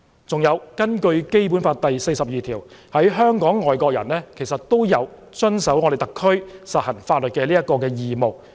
再者，根據《基本法》第四十二條，在香港的外籍人士有遵守特區實行的法律的義務。